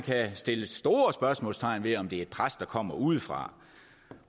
sætte store spørgsmålstegn ved om det også er et pres der kommer udefra